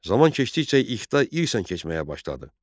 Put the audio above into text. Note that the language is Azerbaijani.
Zaman keçdikcə iqta irsən keçməyə başladı.